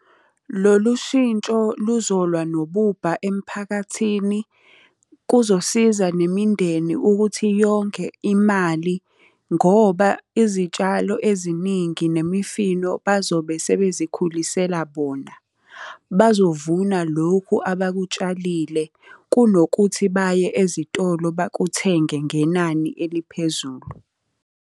Lolu shintsho luzolwa nobubha emphakathini, kuzosiza nemindeni ukuthi yonge imali ngoba izitshalo eziningi nemifino bazobe sebe zikhulisela bona. Bazovuna lokhu abakutshalile kunokuthi baye ezitolo bakuthenge ngenani eliphezulu.